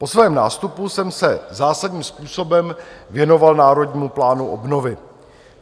Po svém nástupu jsem se zásadním způsobem věnoval Národnímu plánu obnovy.